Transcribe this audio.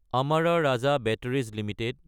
Amara Raja batteries Ltd